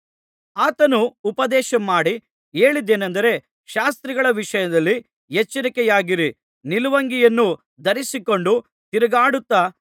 ಆತನು ಉಪದೇಶಮಾಡಿ ಹೇಳಿದ್ದೇನಂದರೆ ಶಾಸ್ತ್ರಿಗಳ ವಿಷಯದಲ್ಲಿ ಎಚ್ಚರಿಕೆಯಾಗಿರಿ ನಿಲುವಂಗಿಯನ್ನು ಧರಿಸಿಕೊಂಡು ತಿರುಗಾಡುತ್ತಾ